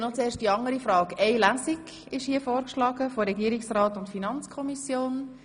Von Regierungsrat und FiKo wurde vorgeschlagen, nur eine Lesung durchzuführen.